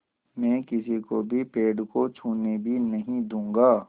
मैं किसी को भी पेड़ को छूने भी नहीं दूँगा